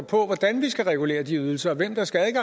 på hvordan vi skal regulere de ydelser og hvem der skal